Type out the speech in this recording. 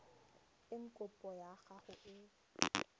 eng kopo ya gago e